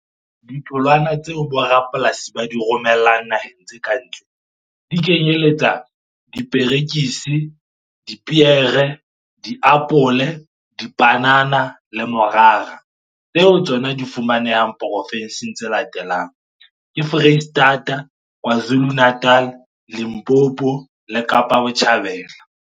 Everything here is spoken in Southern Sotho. Ditholwana tseo bo rapolasi ba di romellang naheng tse ka ntle di kenyeletsa diperekisi, dipeere, diapole, dipanana le morara. Tsona di fumanehang porofenseng tse latelang, ke Foreisetata, Kwazulu Natal, Limpopo le Kapa bo tjhabela.